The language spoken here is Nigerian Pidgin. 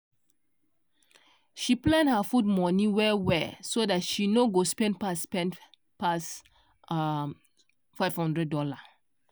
she plan her food money well well so dat she nor go spend pass spend pass um 500 dollar